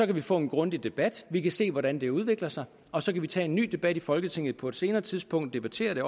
kan få en grundig debat vi kan se hvordan det udvikler sig og så kan vi tage en ny debat i folketinget på et senere tidspunkt debattere det